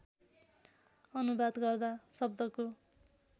अनुवाद गर्दा शब्दको